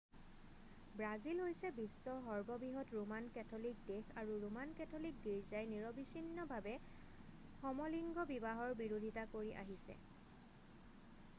Brazil হৈছে বিশ্বৰ সৰ্ববৃহৎ ৰোমান কেথলিক দেশ আৰু ৰোমান কেথলিক গীৰ্জাই নিৰৱচ্ছিন্নভাৱে সমলিংগ বিবাহৰ বিৰোধিতা কৰি আহিছে